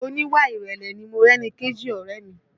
Oníwà ìrẹ̀lẹ̀ ni Morẹ́nikéjì ọ̀rẹ́ ẹ̀ mi